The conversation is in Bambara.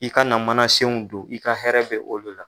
I ka na mana senw don i ka hɛrɛ bɛ o de la.